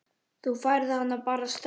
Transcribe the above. Þú færð hana bara strax.